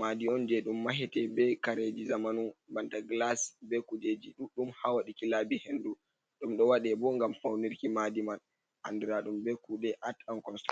Madi'on je ɗum Mahete be Kareji zamanu banta gilas be kujeji ɗudɗum hawaɗiki labi hendu. Ɗum ɗo waɗe bo ngam faunirki Madi man andiradum be Kuɗe at an konsturakshon.